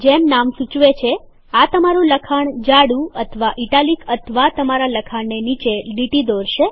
જેમ નામ સૂચવે છે આ તમારું લખાણ બોલ્ડ એટલેકે જાડું અથવા ઇટાલિક અથવા તમારા લખાણ નીચે લીટી દોરશે